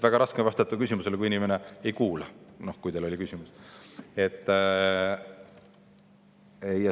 Väga raske on vastata küsimusele, kui inimene ei kuula, kuigi teil endal oli küsimus.